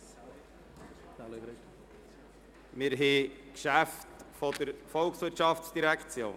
Wir kommen nun zu den Geschäften der VOL.